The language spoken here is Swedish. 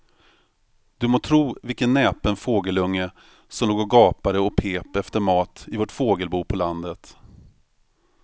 Du må tro vilken näpen fågelunge som låg och gapade och pep efter mat i vårt fågelbo på landet.